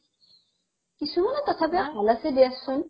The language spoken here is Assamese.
কিছু তথাপিও ভাল আছে দিয়াচোন